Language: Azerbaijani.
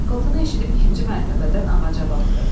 Şaqqıltını eşidib ikinci mərtəbədən ağaca baxdı.